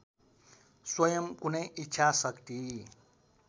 स्वयं कुनै इच्छाशक्ति